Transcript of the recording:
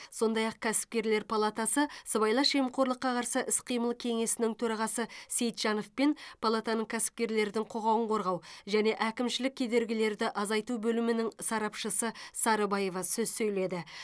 сондай ақ кәсіпкерлер палатасы сыбайлас жемқорлыққа қарсы іс қимыл кеңесінің төрағасы сейтжанов пен палатаның кәсіпкерлердің құқығын қорғау және әкімшілік кедергілерді азайту бөлімінің сарапшысы сарыбаева сөз сөйледі